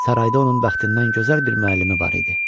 Sarayda onun bəxtindən gözəl bir müəllimi var idi.